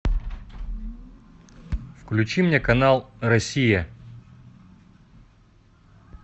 включи мне канал россия